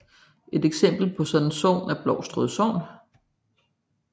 Et eksempel på sådan et sogn er Blovstrød sogn